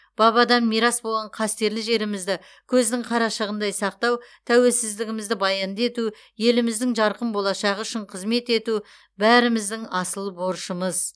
бабадан мирас болған қастерлі жерімізді көздің қарашығындай сақтау тәуелсіздігімізді баянды ету еліміздің жарқын болашағы үшін қызмет ету бәріміздің асыл борышымыз